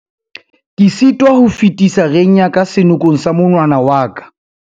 ke sitwa ho fetisa reng ya ka senokong sa monwana wa ka